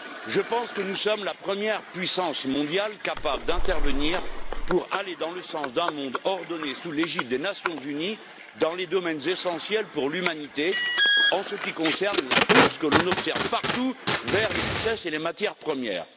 Je pense que nous sommes la puissance mondiale la plus à même d'intervenir pour aller dans le sens d'un monde ordonné sous l'égide des Nations unies dans les domaines essentiels pour l'humanité en ce qui concerne la course que l'on observe partout vers les richesses et les matières premières.